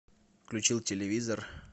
включил телевизор